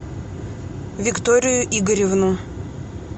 викторию игоревну